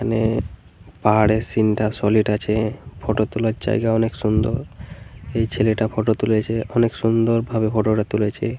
এখানে পাহাড়ের সিন্ টা সলিড আছে। ফটো তোলার জায়গা অনেক সুন্দর। এই ছেলেটা ফটো তুলেছে অনেক সুন্দর ভাবে ফটো টা তুলেছে ।